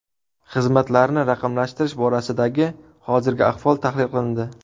Xizmatlarni raqamlashtirish borasidagi hozirgi ahvol tahlil qilindi.